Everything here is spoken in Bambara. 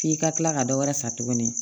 F'i ka kila ka dɔ wɛrɛ fa tuguni